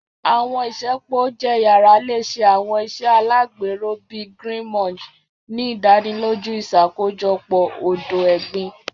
Àwọn isẹpo ounjẹ yara le ṣe àwọn iṣe alagbero, bii Green Munch, ni idaniloju iṣakojọpọ odo-egbin.